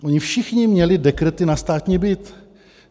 Oni všichni měli dekrety na státní byt.